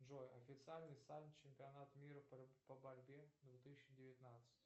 джой официальный сайт чемпионата мира по борьбе две тысячи девятнадцать